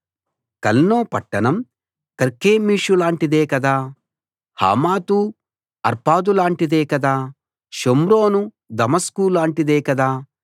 కల్నో పట్టణం కర్కెమీషులాంటిదే కదా హమాతు అర్పాదులాంటిది కాదా షోమ్రోను దమస్కులాంటిది కాదా